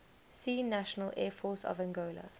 see national air force of angola